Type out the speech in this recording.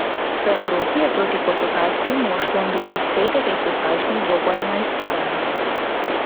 V Evropi je proti portugalskim moštvom dobil vseh devet dozdajšnjih dvobojev na izpadanje.